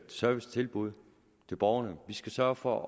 servicetilbud til borgerne vi skal sørge for